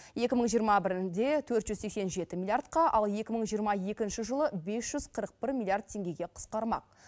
екі мың жиырма бірінде төрт жүз сексен жеті миллиардқа ал екі мың жиырма екінші жылы бес жүз қырық бір миллиард теңгеге қысқармақ